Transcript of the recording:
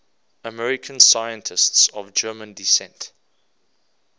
american scientists of german descent